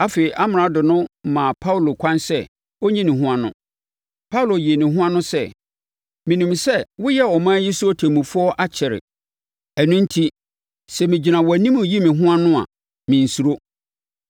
Afei, Amrado no maa Paulo kwan sɛ ɔnyi ne ho ano. Paulo yii ne ho ano sɛ, “Menim sɛ woyɛɛ ɔman yi so ɔtemmufoɔ akyɛre, ɛno enti, sɛ megyina wʼanim reyi me ho ano a, mensuro.